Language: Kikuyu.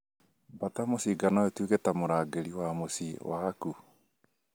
Mbata mũcinga noituĩke ta mũrangĩri wa mũciĩ waku